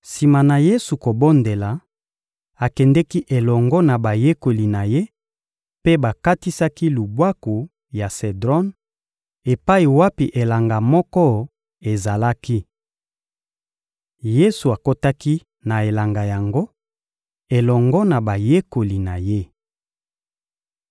Sima na Yesu kobondela, akendeki elongo na bayekoli na Ye mpe bakatisaki lubwaku ya Sedron epai wapi elanga moko ezalaki. Yesu akotaki na elanga yango elongo na bayekoli na Ye.